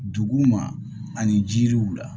Dugu ma ani jiriw la